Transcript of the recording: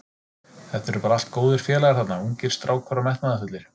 Þetta eru bara allt góðir félagar þarna, ungir strákar og metnaðarfullir.